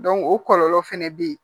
o kɔlɔlɔ fɛnɛ bɛ yen